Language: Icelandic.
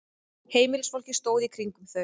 Heimilisfólkið stóð í kringum þau.